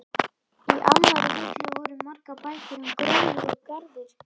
Í annarri hillu voru margar bækur um gróður og garðyrkju.